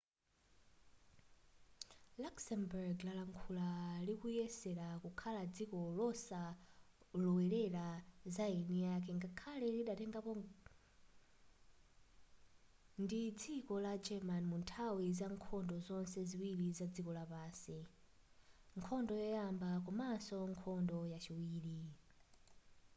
luxembourg lakhala likuyesera kukhala dziko losalowelera zaeniake ngakhale lidatengedwapo ndi dziko la german munthawi zankhondo zonse ziwiri zadziko lapansi nkhondo yoyamba komaso nkhondo yachiwiri